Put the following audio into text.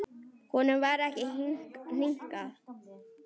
Honum varð ekki hnikað.